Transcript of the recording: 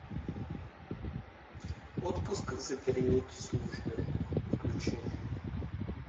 отпуск за период службы включи